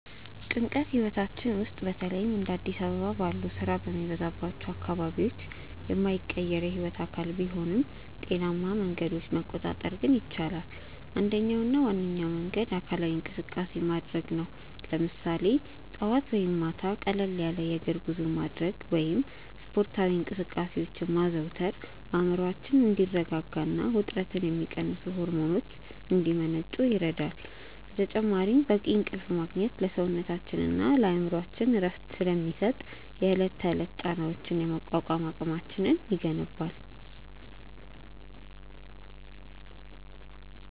ጭንቀት ህይወታችን ውስጥ በተለይም እንደ አዲስ አበባ ባሉ ስራ በሚበዛባቸው አካባቢዎች የማይቀር የህይወት አካል ቢሆንም፣ በጤናማ መንገዶች መቆጣጠር ግን ይቻላል። አንደኛውና ዋነኛው መንገድ አካላዊ እንቅስቃሴ ማድረግ ነው፤ ለምሳሌ ጠዋት ወይም ማታ ቀለል ያለ የእግር ጉዞ ማድረግ ወይም ስፖርታዊ እንቅስቃሴዎችን ማዘውተር አእምሮአችን እንዲረጋጋና ውጥረትን የሚቀንሱ ሆርሞኖች እንዲመነጩ ይረዳል። በተጨማሪም በቂ እንቅልፍ ማግኘት ለሰውነታችንና ለአእምሮአችን እረፍት ስለሚሰጥ፣ የዕለት ተዕለት ጫናዎችን የመቋቋም አቅማችንን ይገነባል።